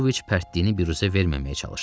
Pavloviç pərtliyini büruzə verməməyə çalışdı.